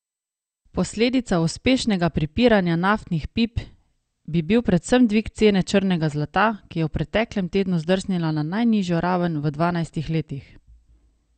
Posledica uspešnega pripiranja naftnih pip bi bil predvsem dvig cene črnega zlata, ki je v preteklem tednu zdrsnila na najnižjo raven v dvanajstih letih.